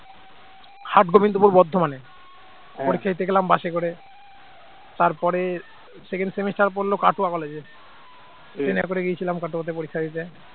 হাট গোবিন্দপুর বর্ধমানে। পরীক্ষা দিতে গেলাম bus এ করে তারপরে second semester পড়ল কাটোয়া college এ train এ করে গেছিলাম কাটোয়াতে পরীক্ষা দিতে